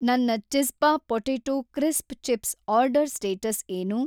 ನನ್ನ ಚಿಜ಼್ಪಾ potato crisp chips order status ಏನು